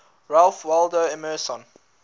ralph waldo emerson